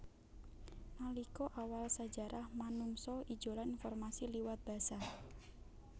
Nalika awal sajarah manungsa ijolan informasi liwat basa